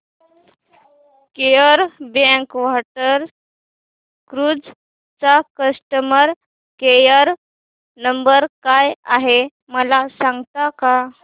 Kerala backwater cruise चा customer care number काय आहे मला सांगता का